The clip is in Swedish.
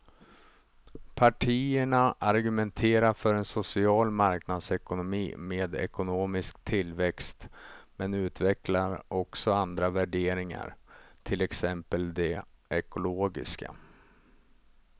Partierna argumenterar för en social marknadsekonomi med ekonomisk tillväxt men utvecklar också andra värderingar, till exempel de ekologiska.